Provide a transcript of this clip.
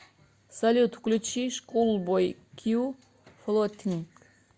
салют включи шкулбой кью флотинг